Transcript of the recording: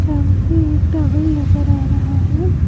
सामने एक टॉवल नजर आ रहा है।